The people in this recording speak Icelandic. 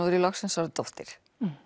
er ég loksins orðin dóttir